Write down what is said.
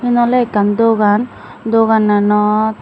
iyan ole ekkan dogan dogananot.